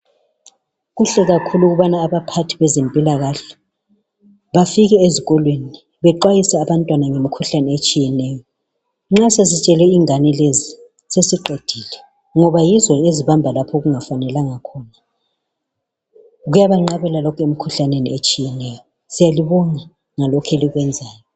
Kuhle kakhulu ukuthi abaphathi bezimpila kahle bafike ezikolo banxwayise abantwana ngemikhuhlane etshiyeneyo nxa sesitshele ingane lezi sesiqedile ngoba yizo ezibamba lapha okungafanelanga khona kuyabanqabela lokhu emkhuhlaneni etshiyeneyo siyalubonga ngalokhu elikwenzayo.